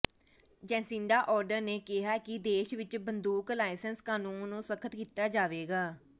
Jacinta Ardern ਨੇ ਕਿਹਾ ਹੈ ਕਿ ਦੇਸ਼ ਵਿਚ ਬੰਦੂਕ ਲਾਇਸੈਂਸ ਕਾਨੂੰਨ ਨੂੰ ਸਖ਼ਤ ਕੀਤਾ ਜਾਵੇਗਾ